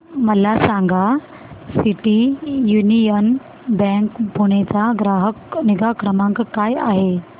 मला सांगा city union bank Pune चा ग्राहक निगा क्रमांक काय आहे